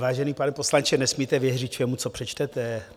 Vážený pane poslanče, nesmíte věřit všemu, co přečtete.